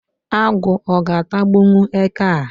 Agụ ọ ga-atagbụwu eke a?.